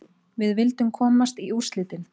Við vildum komast í úrslitin.